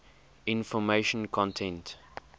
information content